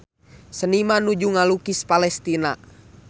Seniman nuju ngalukis Palestina